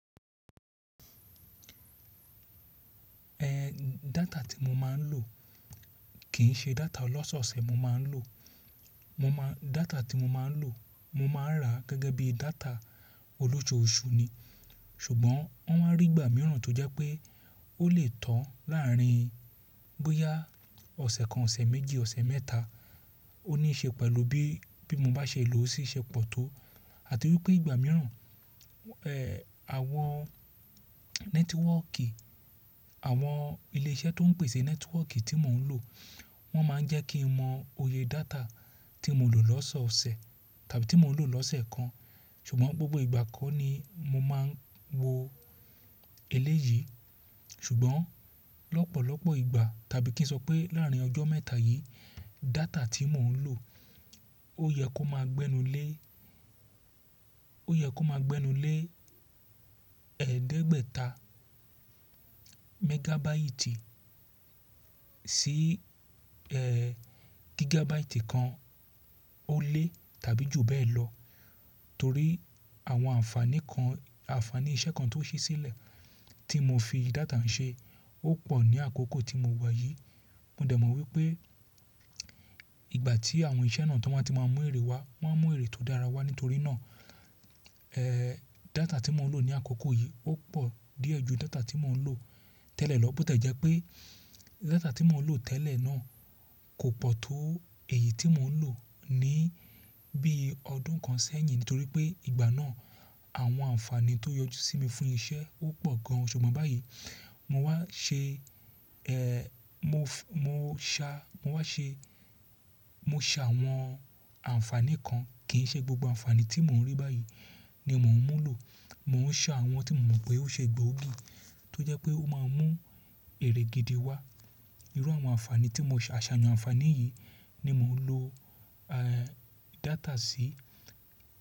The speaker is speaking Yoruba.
En, data tí mo máa ń lò kì í ṣe data ọlọ́sọ̀ọ̀sẹ̀ mo máa ń lò. Mo máa, data tí mo máa ń lò, mo máa ń rà gẹ́gẹ́ bí data olóso òṣù ni. Ṣùgbọ́n wọn máa ń rí ìgbà mìíràn tó jẹ́ pé ó lè tán láàrín bóyá ọ̀sẹ̀ kan, ọ̀sẹ̀ méjì, ọ̀sẹ̀ mẹ́ta. Ó níí ṣe pẹ̀lú bí, bí mo bá ṣe lò ó sìí ṣe pọ̀ tó. Àti wípé ìgbà mìíràn, en, àwọn nẹ́tíwọ́ọ̀kì, àwọn ilé iṣẹ́ tó ń pèsè nẹ́tíwọ́ọ̀kì tí mò ń lò, wọ́n máa ń jẹ́ kí n mọ oyè data tí mo lò lọ́sọ̀ọ̀sẹ̀ tàbí tí mo lò lọ́sẹ̀ kan. Ṣùgbọ́n gbogbo ìgbà kọ ni mo máa ń wo eléyìí. Ṣùgbọ́n lọ́pọ̀lọ́pọ̀ ìgbà tàbí kí n sọ pé láàrín ọjọ́ mẹ́ta yìí, data tí mò ń lò ó yẹ kó máa gbẹ́nu lé, ó yẹ kó máa gbẹ́nu lé ẹ̀ẹ́dẹ́gbẹ̀ta megabaiti sí, ee, gigabaiti kan ó lé tàbí jù bẹ́ẹ̀ lọ. Torí àwọn àǹfààní kan, àǹfààní iṣẹ́ kan tó ṣí sílẹ̀ tí mo n fi data ń ṣe ó pọ̀ ní àkókò tí mo wa yìí. Mo dẹ̀ mọ̀ wípé ìgbà tí àwọn iṣẹ́ náà tó máa ti máa mú èrè wá, wọ́n á mú èrè tó dára wá nítorí náà, eh, data tí mo lò ní àkókò yìí ó pọ̀ díẹ̀ ju data tí mo lò tẹ́lẹ̀ lọ, bó tiẹ́ jẹ́ pé data tí mo lò tẹ́lẹ̀ náà kò pọ̀ tó èyí tí mò ń lò ní bí ọdún kan sẹ́yìn nítorí pé ìgbà náà àwọn àǹfààní tó yọjú sí mi fún iṣẹ́ ó pọ̀ gan. Ṣùgbọ́n báyìí mo wá ṣe, eh, mo f-mo ṣa, mo wá ṣe, mo ṣa àwọn àǹfààní kan, kì í ṣe gbogbo àǹfààní tí mò ń rí báyìí ni mò ń mú lò. Mo ń ṣa àwọn tí mo mọ̀ pé ó ṣe gbóògì tó jẹ́ pé ó máa mú èrè gidi wá. Irú àwọn àǹfààní tí mo ṣàṣàyàn àǹfààní yìí ni mò ń lo, eh, data sí.